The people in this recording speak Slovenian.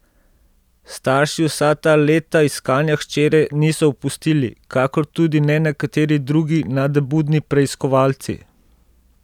Starši vsa ta leta iskanja hčere niso opustili, kakor tudi ne nekateri drugi nadebudni preiskovalci.